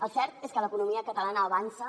el cert és que l’economia catalana avança